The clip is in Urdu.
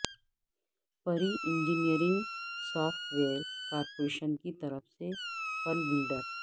پری انجینئرنگ سوفٹ ویئر کارپوریشن کی طرف سے پل بلڈر